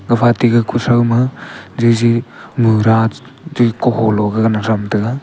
gapha taiga kuthrouma jiji mura tu kuholo thram taiga.